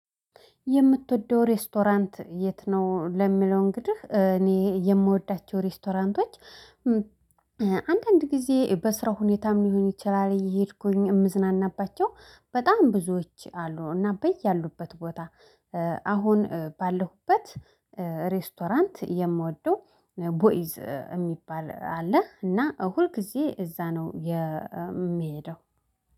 የምትወደው ሬስቶራንት የት? ነው ለሚለው እንግዲህ እኔ የምወዳቸው ሬስቶራንቶች አንዳንድ ጊዜ በስራ ሁኔታም ሊሆን ይችላል እየሄድኩኝ የምዝናናባቸው በጣም ብዙዎች አሉ። እና በያሉበት ቦታ አሁን ባለሁበት ሬስቶራንት የምወደው ቦይዝ የሚባል አለ። እና ሁልጊዜ እዛ ነው የሚሄደው።